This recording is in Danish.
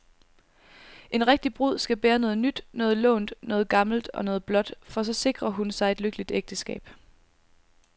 En rigtig brud skal bære noget nyt, noget lånt, noget gammelt og noget blåt, for så sikrer hun sig et lykkeligt ægteskab.